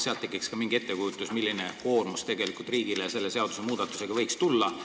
Siis tekiks mingi ettekujutus, milline koormus riigile selle seadusmuudatuse tõttu võiks tulla.